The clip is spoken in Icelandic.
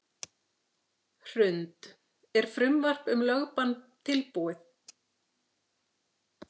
Hrund: Er frumvarp um lögbann tilbúið?